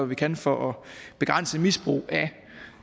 vi kan for at begrænse misbrug af